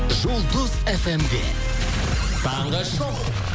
жұлдыз фм де таңғы шоу